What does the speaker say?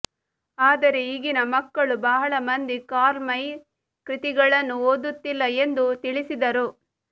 ಆದರೆ ಈಗಿನ ಮಕ್ಕಳು ಬಹಳ ಮಂದಿ ಕಾರ್ಲ್ ಮೈ ಕೃತಿಗಳನ್ನು ಓದುತ್ತಿಲ್ಲ ಎಂದು ತಿಳಿಸಿದರು